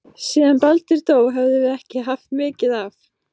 Síðan Baldur dó höfum við ekki haft mikið af